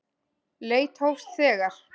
Leit hófst þegar